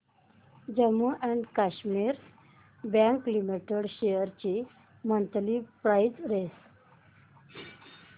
Jammu and Kashmir bank limited shares ची monthly price range